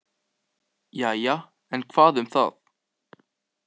Jæja, en hvað um það.